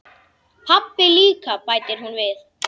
Pabbi líka, bætir hún við.